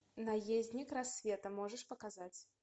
наездник рассвета можешь показать